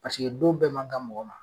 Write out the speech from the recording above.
don bɛɛ man kan mɔgɔ ma.